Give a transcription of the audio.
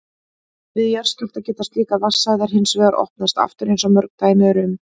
Við jarðskjálfta geta slíkar vatnsæðar hins vegar opnast aftur eins og mörg dæmi eru um.